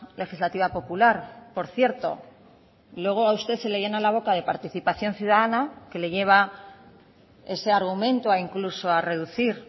legislativa popular por cierto luego a usted se le llena la boca de participación ciudadana que le lleva ese argumento incluso a reducir